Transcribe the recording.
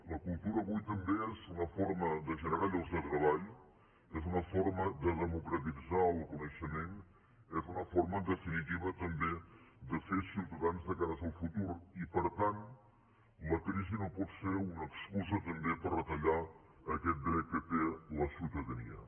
la cultura avui també és una forma de generar llocs de treball és una forma de democratitzar el coneixement és una forma en definitiva també de fer ciutadans de cara al futur i per tant la crisi no pot ser una excusa també per retallar aquest dret que té la ciutadania